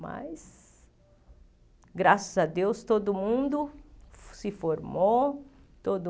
Mas, graças a Deus, todo mundo se formou. Todo